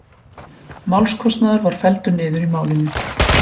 Málskostnaður var felldur niður í málinu